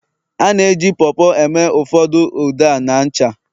a na-eji Po Po eme ụfordo ude ah na ncha